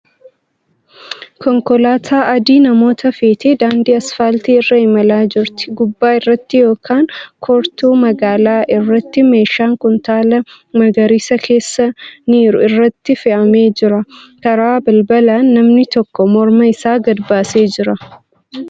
Konkolaataa adii namoota feetee daandii asfaaltii irra imalaa jirti. Gubbaa irratti yookan kortuu magaalaa irratti meeshaan kuntaala magariisa keessa niru irratti fe'amee jira. Karaa balabalaan namni tokko morma isaa gadi baasee jira.